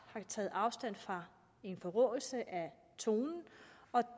har taget afstand fra en forråelse af tonen og